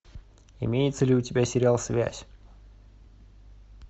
имеется ли у тебя сериал связь